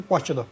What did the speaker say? Bakıda.